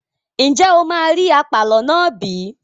Ǹjẹ́ o máa rí àpàlọ́ náà bí?